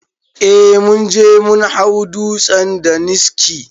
Eh munje mun hau dutsen daniski